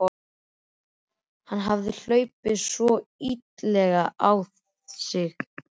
Hann hafði þá hlaupið svona illilega á sig!